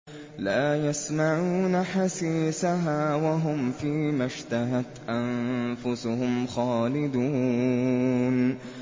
لَا يَسْمَعُونَ حَسِيسَهَا ۖ وَهُمْ فِي مَا اشْتَهَتْ أَنفُسُهُمْ خَالِدُونَ